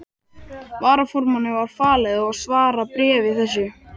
Varaformanni var falið að svara bréfi þessu.